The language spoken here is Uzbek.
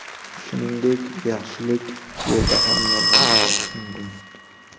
Shuningdek, yaxshilik yo‘lida ham yolg‘on ishlatish mumkin.